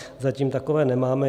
Zatím takové nemáme.